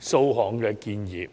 數項建議。